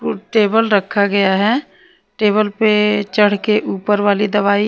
Table रखा गया है। टेबल पे चढ़ के ऊपर वाली दवाई--